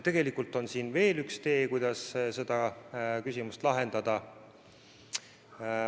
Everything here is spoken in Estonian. Tegelikult on siin veel üks tee, kuidas seda küsimust lahendada.